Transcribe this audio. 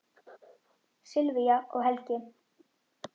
Sylvía og Helgi.